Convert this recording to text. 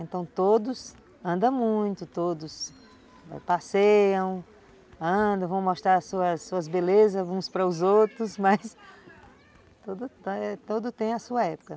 Então todos andam muito, todos passeiam, andam, vão mostrar as suas suas belezas, uns para os outros, mas tudo tem a sua época.